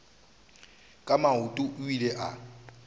ka maoto o ile a